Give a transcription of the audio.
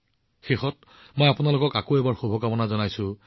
ইয়াৰ সৈতে আকৌ এবাৰ আপোনালোক সকলোকে অশেষ শুভেচ্ছা জনাইছো